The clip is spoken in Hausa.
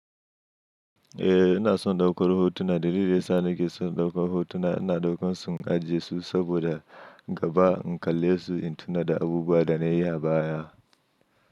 Eh, ina son daukar hotuna dalilin da ya sa nake son daukar hotuna. Ina daukar su in ajiye su saboda gaba in kalle su in tuna da abubuwa da na yi a baya.